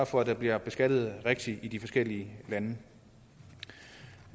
for at der bliver beskattet rigtigt i de forskellige lande